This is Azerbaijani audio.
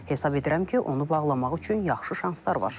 Hesab edirəm ki, onu bağlamaq üçün yaxşı şanslar var,